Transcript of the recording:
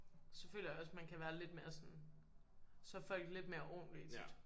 Så føler jeg også man kan være lidt mere sådan så er folk lidt mere ordentlige tit